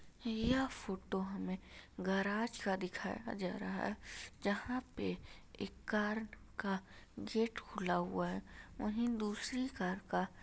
यह फोटो हमें गराज का दिखाया जा रहा है जहां पे एक कार का गेट खुला हुआ है वहीं दूसरी कार का --